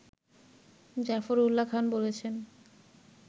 জাফরউল্লাহ খান বলেছেন